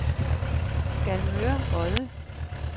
Skalmør Odde